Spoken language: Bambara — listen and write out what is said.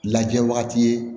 Lajɛ wagati ye